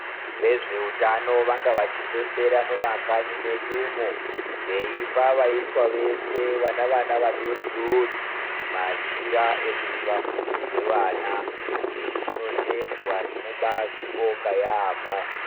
Vezveutano vanga vachipembera mumakanyi medumo veipa vaiswa vese vane vana vadoridori machira ekuti vafukidze vana. Izvi zvinotendwa, tinobaazvibonga yaamho.